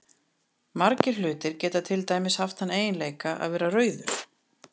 Margir hlutir geta til dæmis haft þann eiginleika að vera rauður.